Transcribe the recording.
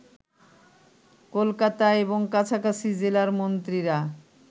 কলকাতা এবং কাছাকাছি জেলার মন্ত্রীরা